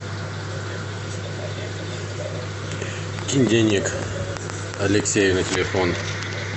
кинь денег алексею на телефон